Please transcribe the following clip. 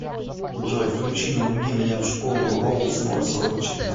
джой включи не буди меня в школу роуз ноль сорок четыре